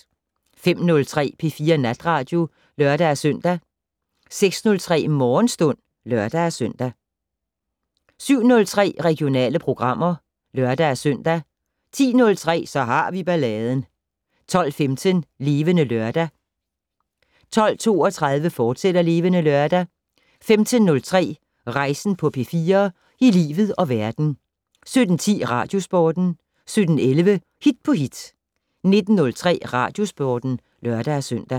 05:03: P4 Natradio (lør-søn) 06:03: Morgenstund (lør-søn) 07:03: Regionale programmer (lør-søn) 10:03: Så har vi balladen 12:15: Levende Lørdag 12:32: Levende Lørdag, fortsat 15:03: Rejsen på P4 - i livet og verden 17:10: Radiosporten 17:11: Hit på hit 19:03: Radiosporten (lør-søn)